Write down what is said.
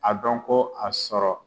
A dɔn ko, a sɔrɔ